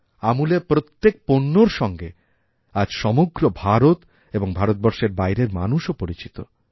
আমূলএর প্রত্যেক পণ্যর সঙ্গে আজ সমগ্র ভারত এবং ভারতবর্ষেরবাইরের মানুষও পরিচিত